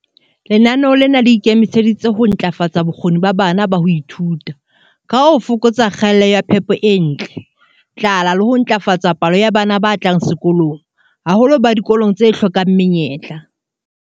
Lenaneo lena le ikemiseditse ho ntlafatsa bokgoni ba bana ba ho ithuta, ka ho fokatsa kgaello ya phepo e ntle, tlala le ho ntlafatsa palo ya bana ba tlang sekolong, haholoholo ba dikolong tse hlokang menyetla.